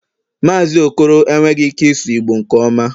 Mazị okoro enweghị ike ịsụ Igbo nke ọma